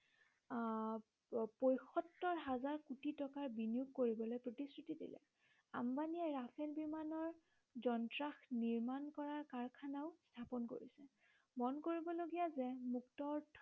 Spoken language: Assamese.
আহ পয়সত্তৰ হাজাৰ কোটি টকাৰ বিনিয়োগ কৰিবলৈ প্ৰতিশ্ৰুতি দিলে। আম্বানীয়ে ৰাফেল বিমানৰ যন্ত্ৰাংশ নিৰ্মাণ কৰা কাৰখানাও স্থাপন কৰিছে মন কৰিব লগীয়া যে মুক্ত অৰ্থ